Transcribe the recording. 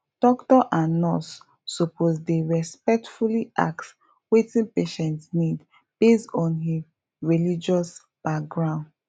doctor and nurse suppose dey respectfully ask wetin patient need based on him religious background